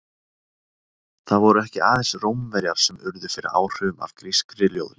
Það voru ekki aðeins Rómverjar sem urðu fyrir áhrifum af grískri ljóðlist.